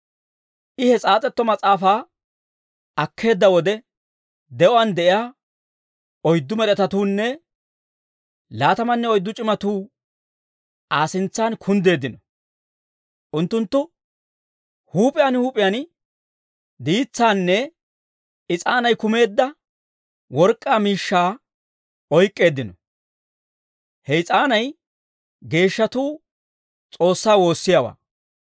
I he s'aas'etto mas'aafaa akkeedda wode, de'uwaan de'iyaa oyddu med'etatuunne laatamanne oyddu c'imatuu Aa sintsan kunddeeddino. Unttunttu huup'iyaan huup'iyaan diitsaanne is'aanay kumeedda work'k'aa miishshaa oyk'k'eeddino. He is'aanay geeshshatuu S'oossaa woossiyaawaa.